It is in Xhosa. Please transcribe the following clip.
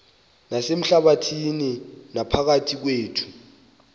nasehlabathini naphakathi kwethu